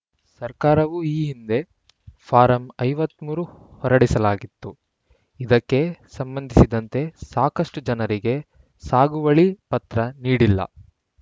ಸರ್ಕಾರವು ಈ ಹಿಂದೆ ಫಾರಂ ಐವತ್ತ್ ಮೂರು ಹೊರಡಿಸಲಾಗಿತ್ತು ಇದಕ್ಕೆ ಸಂಬಂಧಿಸಿದಂತೆ ಸಾಕಷ್ಟುಜನರಿಗೆ ಸಾಗುವಳಿ ಪತ್ರ ನೀಡಿಲ್ಲ